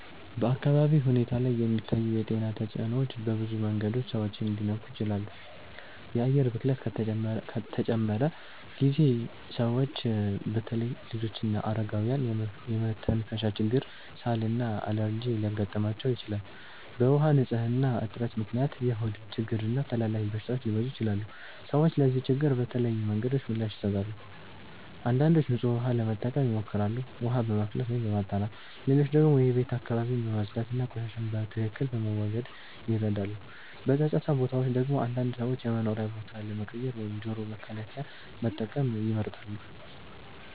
በአካባቢ ሁኔታ ላይ የሚታዩ የጤና ተጽዕኖዎች በብዙ መንገዶች ሰዎችን ሊነኩ ይችላሉ። የአየር ብክለት ከተጨመረ ጊዜ ሰዎች በተለይ ልጆችና አረጋውያን የመተንፈሻ ችግር፣ ሳል እና አለርጂ ሊያጋጥማቸው ይችላል። በውሃ ንፅህና እጥረት ምክንያት የሆድ ችግሮች እና ተላላፊ በሽታዎች ሊበዙ ይችላሉ። ሰዎች ለዚህ ችግር በተለያዩ መንገዶች ምላሽ ይሰጣሉ። አንዳንዶች ንጹህ ውሃ ለመጠቀም ይሞክራሉ፣ ውሃ በማፍላት ወይም በማጣራት። ሌሎች ደግሞ የቤት አካባቢን በማጽዳት እና ቆሻሻን በትክክል በመወገድ ይረዳሉ። በጫጫታ ቦታዎች ደግሞ አንዳንድ ሰዎች የመኖሪያ ቦታ ለመቀየር ወይም ጆሮ መከላከያ መጠቀም ይመርጣሉ።